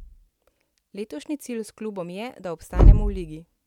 Letošnji cilj s klubom je, da obstanemo v ligi.